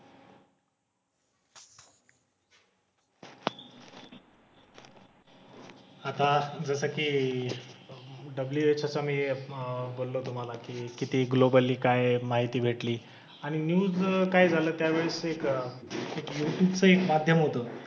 आता जसं की WHO चं मी अह बोललो तुम्हाला की किती ग्लोबली काय माहिती भेटली. आणि न्युज काय झाल, त्यावेळेस एक यूट्यूबचं एक माध्यम होत.